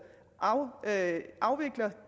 afvikler